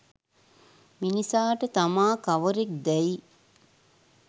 මිනිසාට තමා කවරෙක් දැයි